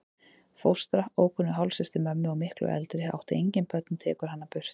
Fóstra, ókunnug hálfsystir mömmu og miklu eldri, átti engin börnin og tekur hana burt.